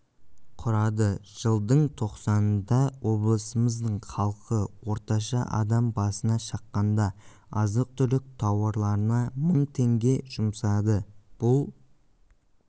құрады жылдың тоқсанында облысымыздың халқы орташа адам басына шаққанда азық-түлік тауарларына мың теңге жұмсады бұл